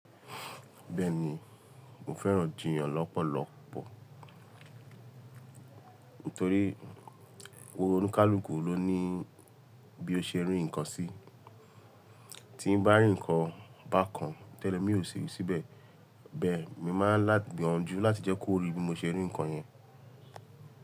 Bẹ́ẹ̀ni, mo fẹ́ràn jìyàn lọ́pọ̀lọpọ̀ nítorí wòórónúkáalùkù ló ní bí ó ṣe rí nǹkan sí. Tí ń bá rí nǹkan bá kan tẹ́lẹ̀, mi ò ṣe ìwú síbẹ̀. Bẹ́ẹ̀ mi máa gbìyànju láti jẹ́ kó rí bí mo ṣe rí nǹkan yẹn.